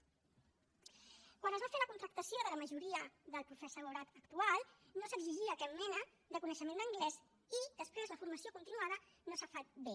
quan es va fer la contractació de la majoria del professorat actual no s’exigia cap mena de coneixement d’anglès i després la formació continuada no s’ha fet bé